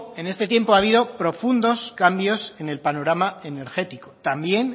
en este tiempo ha habido profundos cambios en el panorama energético también